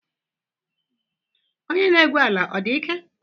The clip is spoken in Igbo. Onye na-egwu ala ọ dị ike?